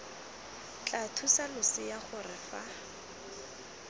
tla thusa losea gore fa